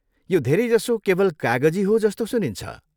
यो धेरैजसो केवल कागजी हो जस्तो सुनिन्छ।